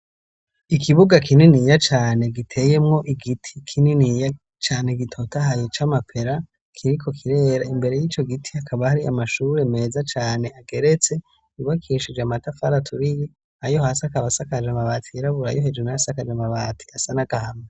Ikibuga kininiya cane giteyemwo igiti kininiya cane gitotahaye c'amapera, kiriko kirera imbere y'ico giti hakaba hari amashuri meza cane ageretse yubakishije amatafari aturiye ayo hasi akaba asakaje amabati yirabura ayo hejero nayo asakaje amabati asa n'agahama.